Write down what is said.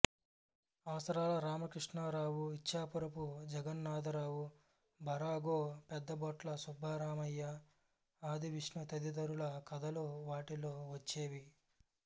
అవసరాల రామకృష్ణారావు ఇచ్ఛాపురపు జగన్నాథరావు భరాగో పెద్దిభొట్ల సుబ్బరామయ్య ఆదివిష్ణు తదితరుల కథలు వాటిలో వచ్చేవి